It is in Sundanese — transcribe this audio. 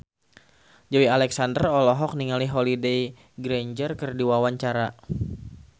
Joey Alexander olohok ningali Holliday Grainger keur diwawancara